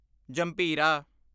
ਜੰਭੀਰਾ